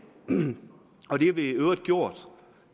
og det har vi i øvrigt gjort